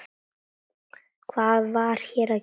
Hvað var hér að gerast?